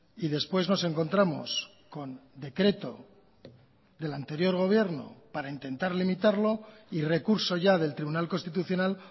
y después nos encontramos con decreto del anterior gobierno para intentar limitarlo y recurso ya del tribunal constitucional